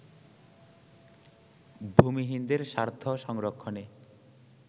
ভূমিহীনদের স্বার্থ সংরক্ষণে